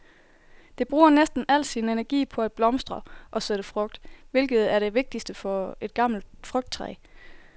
Det bruger næsten al sin energi på at blomstre og sætte frugt, hvilket er det vigtigste for et gammelt frugttræ.